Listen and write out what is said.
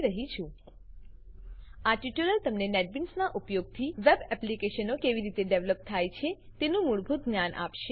વાપરી રહ્યી છું આ ટ્યુટોરીયલ તમને નેટબીન્સના ઉપયોગથી વેબ એપ્લીકેશનો કેવી રીતે ડેવલપ થાય છે તેનું મૂળભૂત જ્ઞાન આપશે